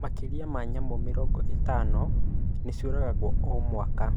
Makĩria ma nyamũ mĩrongo ĩtano nĩciũragagwo o,mwaka